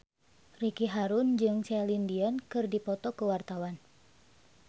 Ricky Harun jeung Celine Dion keur dipoto ku wartawan